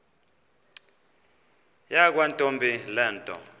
yakwantombi le nto